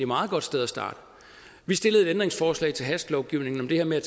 meget godt sted at starte vi stillede et ændringsforslag til hastelovgivningen om det her med at